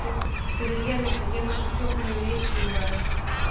то переоденусь одену хоть тёплые вещи ебать